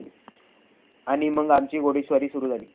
आणि मग आमची घोडेस्वारी सुरू झाली.